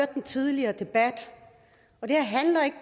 den tidligere debat og det her handler ikke